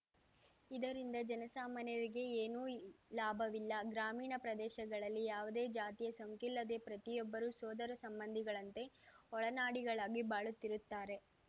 ಇದರಿಂದ ಜನಸಾಮಾನ್ಯರಿಗೆಏನೂಈ ಲಾಭವಿಲ್ಲ ಗ್ರಾಮೀಣ ಪ್ರದೇಶಗಳಲ್ಲಿ ಯಾವುದೇ ಜಾತಿಯ ಸೋಂಕಿಲ್ಲದೆ ಪ್ರತಿಯೊಬ್ಬರೂ ಸೋದರ ಸಂಬಂಧಿಗಳಂತೆ ಒಡನಾಡಿಗಳಾಗಿ ಬಾಳುತ್ತಿರುತ್ತಾರೆ